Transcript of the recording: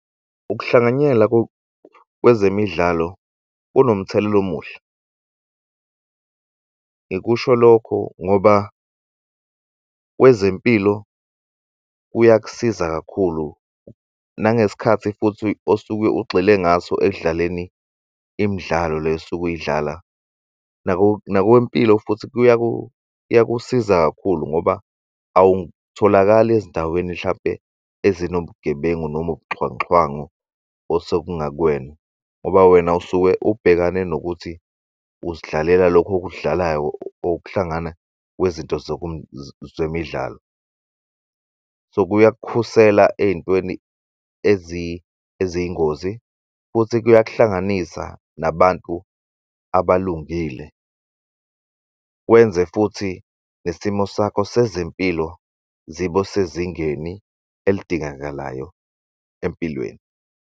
Ukuhlanganyela kwezemidlalo kunomthelela omuhle. Ngikusho lokho ngoba kwezempilo kuyakusiza kakhulu nangesikhathi futhi osuke ugxile ngaso ekudlaleni imidlalo le osuke uyidlala nakwewempilo futhi kuyakusiza kakhulu ngoba awutholakali ezindaweni hlampe ezinobugebengu noma ubuxhwanguxhwangu osekungakuwena ngoba wena usuke ubhekane nokuthi uzidlalela lokho okudlalayo okuhlangana kwezinto zemidlalo. So, kuyakukhusela ey'ntweni eziyingozi futhi kuyak'hlanganisa nabantu abalungile kwenze futhi nesimo sakho sezempilo zibe sezingeni elidingakalayo empilweni.